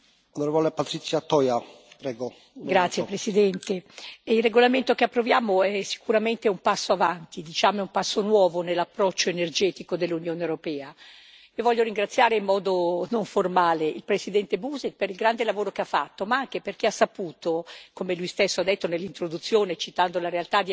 Signor Presidente, onorevoli colleghi, il regolamento che approviamo rappresenta sicuramente un passo avanti, un passo nuovo nell'approccio energetico dell'Unione europea. E voglio ringraziare in modo non formale il presidente Buzek per il grande lavoro che ha fatto, ma anche perché, come lui stesso ha detto nell'introduzione citando la realtà di alcuni paesi,